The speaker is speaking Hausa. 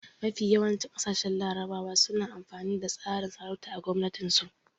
Mafi yawancin ƙasashen larabawa suna amfani da tsarin sarauta a gwamnatin su